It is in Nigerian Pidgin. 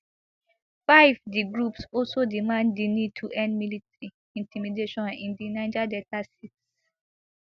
five di groups also demand di need to end military intimidation in di niger delta six